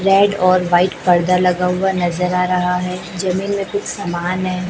Red और white पर्दा लगा हुआ नजर आ रहा है जमीन में कुछ सामान है।